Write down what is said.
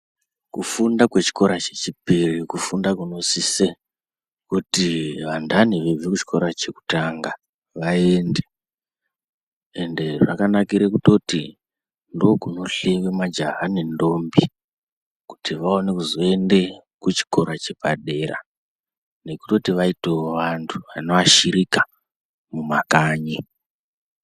Kufunda kwechikora chechipiri kufunda kunosise kuti anhani achibve kuchikora chekutanga vaende ende zvakanakire kutoti ndiko kuno hleyiwe majaha nendombi kuti vaone kuzoende kuchikora chepadera nekutoti vaito vanhu vanoashirika mumakanyi.